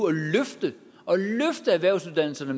at løfte erhvervsuddannelserne